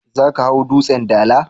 Za ka hau Dutsen Dala?